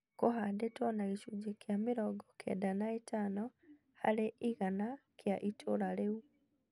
Kũhandĩtwo na gĩcunjĩ kĩa mĩrongo kenda na ĩtano harĩ igana kĩa ĩtũra reu.